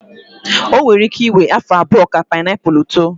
O nwere ike iwe afọ abụọ ka painiapulu too.